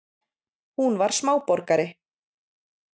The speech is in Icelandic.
Hún var smáborgari.